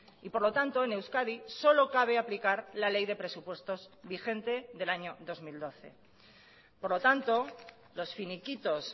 y por lo tanto en euskadi solo cabe aplicar la ley de presupuestos vigente del año dos mil doce por lo tanto los finiquitos